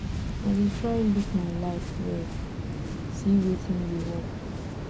i dey try look my life well see wetin dey work